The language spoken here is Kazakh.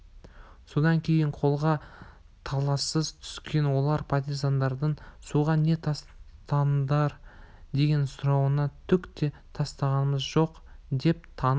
содан кейін қолға талассыз түскен олар партизандардың суға не тастадыңдар деген сұрауына түк те тастағамыз жоқ деп танып